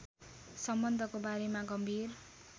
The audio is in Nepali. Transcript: सम्बन्धको बारेमा गम्भीर